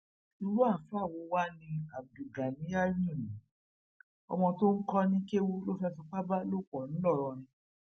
irú àáfàá wo wàá ni abdulganiyanu yìí ọmọ tó ń kó ní kéwu ló fẹẹ fipá bá lò pọ ńlọrọrin